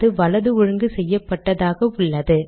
அது வலது ஒழுங்கு செய்யப்பட்டதாக உள்ளது